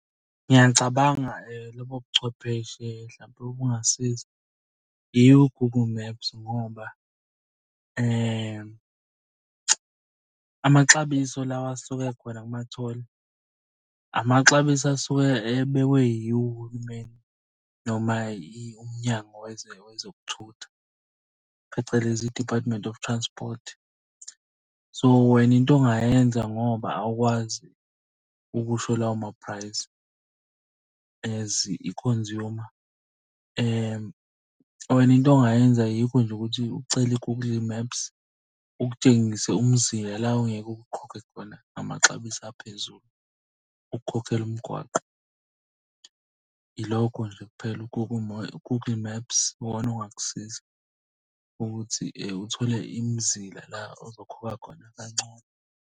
Ngiyacabanga lobo buchwepheshe hlampe obungasiza yiwo-Google Maps ngoba amaxabiso lawa asuke ekhona kuma-toll amaxabiso asuke ebekwe yiwo uhulumeni noma uMnyango Wezokuthutha, phecelezi i-Department of Transport. So wena into ongayenza ngoba awukwazi ukusho lawo maphrayizi as i-consumer, wena into ongayenza yikho nje ukuthi ucele u-Google Maps ukutshengise umzila la ongeke ukhokhe khona amaxabiso aphezulu ukukhokhela umgwaqo. Ilokho nje kuphela u-Google Maps ongakusiza ukuthi uthole imizila la ozokhokha khona kancono.